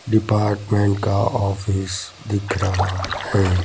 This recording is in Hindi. डिपार्टमेंट का ऑफिस दिख रहा है।